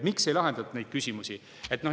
Miks ei lahendatud neid küsimusi siis?